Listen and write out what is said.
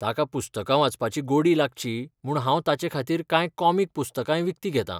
ताका पुस्तकां वाचपाची गोडी लागची म्हूण हांव ताचेखातीर कांय कॉमिक पुस्तकांय विकतीं घेतां.